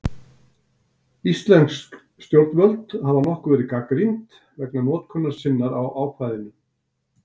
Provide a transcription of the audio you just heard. Íslensk stjórnvöld hafa nokkuð verið gagnrýnd vegna notkunar sinnar á ákvæðinu.